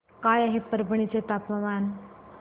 काय आहे परभणी चे तापमान